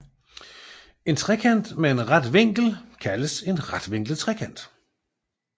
En trekant med en ret vinkel kaldes en retvinklet trekant